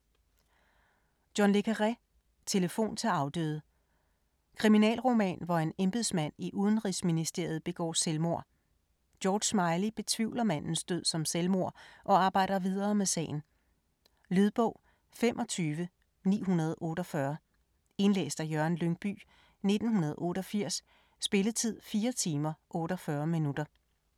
Le Carré, John: Telefon til afdøde Kriminalroman hvor en embedsmand i udenrigsministeriet begår selvmord. George Smiley betvivler mandens død som selvmord og arbejder videre med sagen. Lydbog 25948 Indlæst af Jørgen Lyngbye, 1988. Spilletid: 4 timer, 48 minutter.